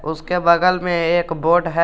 उसके बगल में एक बोर्ड है।